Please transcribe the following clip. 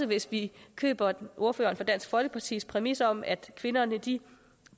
hvis vi køber ordføreren for dansk folkepartis præmis om at kvinderne